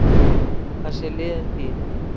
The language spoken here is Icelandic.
Það sé liðin tíð